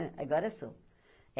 Agora sou.